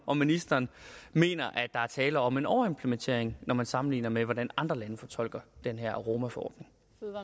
om ministeren mener at der er tale om en overimplementering når man sammenligner med hvordan andre lande fortolker den her aromaforordning